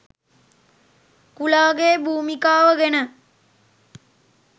කුලාගේ භූමිකාව ගැන